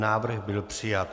Návrh byl přijat.